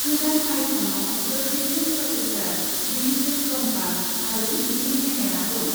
गोदान आईफ'नाव गोख्रैसिन प्रसेसर, डिजिटेल कम्पास आरो भिडिअ' केमेरा दं।